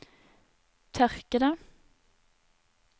tørkede